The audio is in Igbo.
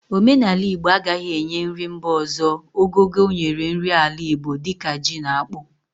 Omenala Igbo agaghi enye nri mba ọzọ ogogo o nyere nri ala Igbo di ka ji na akpu